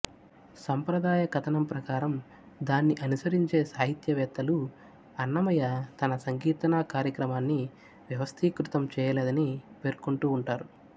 సంప్రదాయ కథనం ప్రకారం దాన్ని అనుసరించే సాహిత్యవేత్తలు అన్నమయ్య తన సంకీర్తనా కార్యక్రమాన్ని వ్యవస్థీకృతం చేయలేదని పేర్కొంటూ వుంటారు